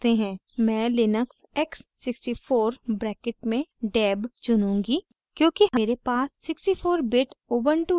मैं linux x64 bracket में deb चुनूँगी क्योंकि मेरे पास 64bit ubuntu लिनक्स machine है